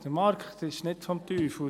Der Markt ist nicht des Teufels.